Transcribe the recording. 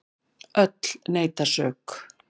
Öll neita sök.